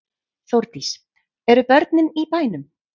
Þórdís: Eru börnin í bænum?